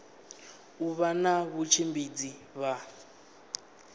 u vha na vhatshimbidzi vha